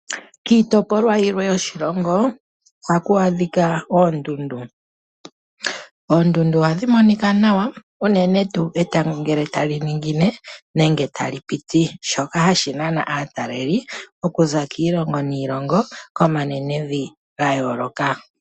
Kiitopolwa yilwe yoshilongo, ohaku adhika oondundu. Oondundu ohadhi monika nawa , unene tuu etango ngele tali ningine nenge tali piti. Shoka ohashi nana aatalelipo okuza kiilongo niilongo, komanenenvi ga yooloka.